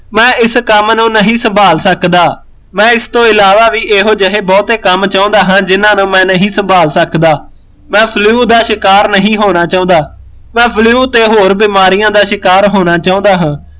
ਮੈਂ ਇਸ ਕੰਮ ਨੂੰ ਨਹੀਂ ਸੰਭਾਲ ਸਕਦਾ ਮੈਂ ਇਸ ਤੋ ਇਲਾਵਾ ਵੀ ਇਹੋ ਜੇ ਬਹੁਤੇ ਕੰਮ ਚਾਹੁੰਦਾ ਹਾਂ ਜਿਹਨਾਂ ਨੂੰ ਮੈਂ ਨਹੀਂ ਸੰਭਾਲ ਸਕਦਾ ਮੈਂ flew ਦਾ ਸ਼ਿਕਾਰ ਨਹੀਂ ਹੋਣਾ ਚਾਹੁੰਦਾ ਮੈਂ flew ਤੇ ਹੋਰ ਬਿਮਾਰੀਆਂ ਦਾ ਸ਼ਿਕਾਰ ਹੋਣਾ ਚਾਹੁੰਦਾ ਹਾਂ